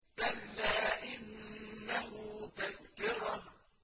كَلَّا إِنَّهُ تَذْكِرَةٌ